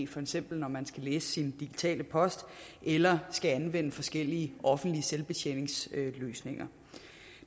for eksempel når man skal læse sin digitale post eller skal anvende forskellige offentlige selvbetjeningsløsninger